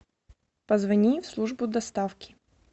позвони в службу доставки